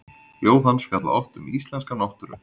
Ljóð hans fjalla oft um íslenska náttúru.